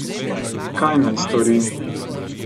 Kaj naj stori?